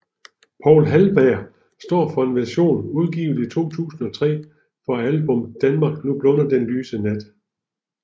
Poul Halberg står for en version udgivet i 2003 på album Danmark nu blunder den lyse nat